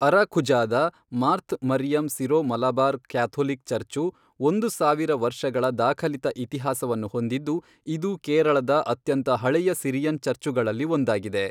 ಅರಾಕುಝಾದ Marth Mariam Syro Malabar Catholic church ಒಂದು ಸಾವಿರ ವರ್ಷಗಳ ದಾಖಲಿತ ಇತಿಹಾಸವನ್ನು ಹೊಂದಿದ್ದು, ಇದು ಕೇರಳದ ಅತ್ಯಂತ ಹಳೆಯ ಸಿರಿಯನ್ ಚರ್ಚ್ಚುಗಳಲ್ಲಿ ಒಂದಾಗಿದೆ.